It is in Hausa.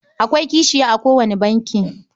Akwai kashiya a kowane banki.